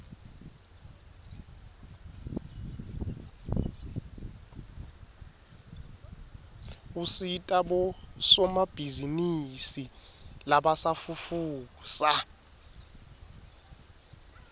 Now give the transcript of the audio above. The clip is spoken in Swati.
usita bosomabhizinisi labasafufusa